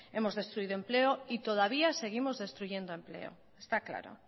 hemos destruido empleo y todavía seguimos destruyendo empleo está claro